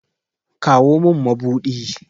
Kawo min mabuɗi!